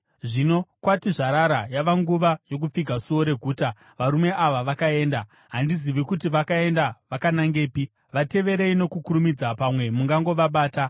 Zvino kwati zvarara yava nguva yokupfiga suo reguta, varume ava vakaenda. Handizivi kuti vakaenda vakanangepi. Vateverei nokukurumidza, pamwe mungangovabata.”